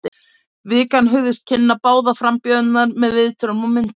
Vikan hugðist kynna báða frambjóðendur með viðtölum og myndum.